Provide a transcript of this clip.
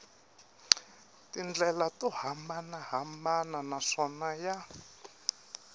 tindlela to hambanahambana naswona ya